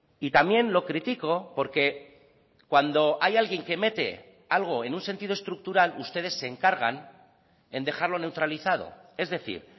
y también lo critico porque cuando hay alguien que mete algo en un sentido estructural ustedes se encargan en dejarlo neutralizado es decir